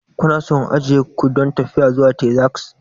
Kuna so in ajiye ku don tafiya zuwa Texas?